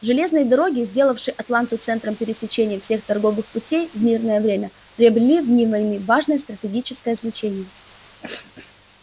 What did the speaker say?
железные дороги сделавшие атланту центром пересечения всех торговых путей в мирное время приобрели в дни войны важное стратегическое значение